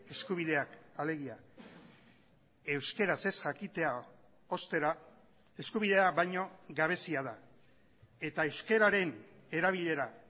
eskubideak alegia euskaraz ez jakitea ostera eskubidea baino gabezia da eta euskararen erabilera